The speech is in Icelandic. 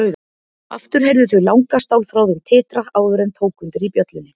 Aftur heyrðu þau langa stálþráðinn titra áður en tók undir í bjöllunni.